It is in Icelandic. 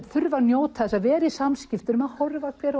þurfa að njóta þess að vera í samskiptum og horfa á hver